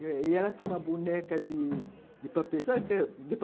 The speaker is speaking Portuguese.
E ela tinha uma boneca de de papelão